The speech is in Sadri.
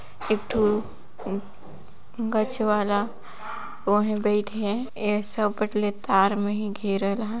एक ठु गच वाला ओ हे बैठ हे ए सब बट ले तार में ही घेरल आहाय |